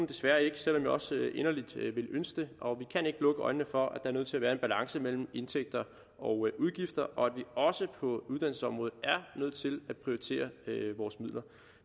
desværre ikke selv om jeg også inderligt ville ønske det og vi kan ikke lukke øjnene for at der er nødt til at være en balance mellem indtægter og udgifter og at vi også på uddannelsesområdet er nødt til at prioritere vores midler